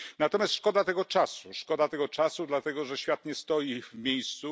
Szkoda natomiast tego czasu szkoda tego czasu dlatego, że świat nie stoi w miejscu.